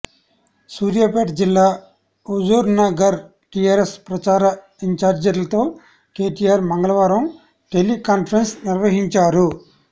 సూర్యాపేట జిల్లా హుజూర్నగర్ టీఆర్ఎస్ ప్రచార ఇంఛార్జ్లతో కేటీఆర్ మంగళవారం టెలీ కాన్ఫరెన్స్ నిర్వహించారు